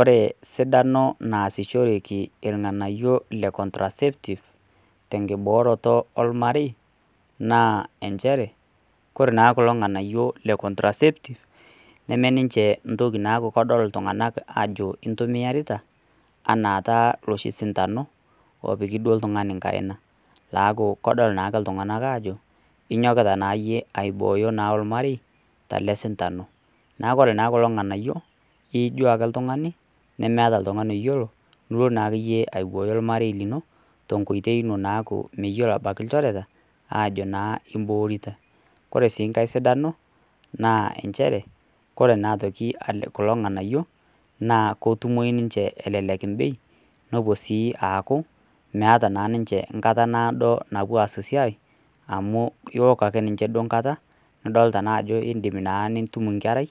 Ore esidano nasishoreki irng'anayio lee contraceptive tenkiboroto oo ormarei nn njere ore naa kulo nganayio lee contraceptive nemeniche naku kedol iltung'ana Ajo intumiarita enaa taata eloshi sindano opiki oltung'ani enkaina keju kedol ake iltung'ana Ajo enyokita naa aiboyo ormarei tele sindano neeku ore kulo nganayio iyijio ake oltung'ani lemeeta oltung'ani oyiolo elo naake aiboyo ormarei lino tenkoitoi naakmwyiolo ilchoreta Ajo eborita ore sii enkae na ore kulo nganayio naa kelelek bei meeta naa ninche enkata nadoo napuo aas esiai amu ewok aa ninche enkata nidol Ajo edim nitum enkerai